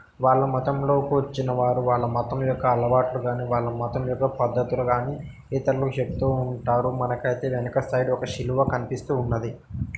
వాళ్ళ మతం లోకి వచ్చిన వాళ్ళు వాళ్ళ మతం యొక్క అలవాట్లు కానీ వాళ్ళ మతం యొక్క పద్ధతులు కానీ ఇతరులు చెప్తూ ఉంటారు మనకైతే వెనుక సైడ్ శిలువ కనిపిస్తూ ఉన్నది .